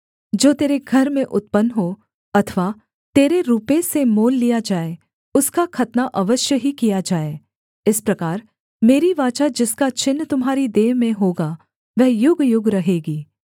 जो तेरे घर में उत्पन्न हो अथवा तेरे रूपे से मोल लिया जाए उसका खतना अवश्य ही किया जाए इस प्रकार मेरी वाचा जिसका चिन्ह तुम्हारी देह में होगा वह युगयुग रहेगी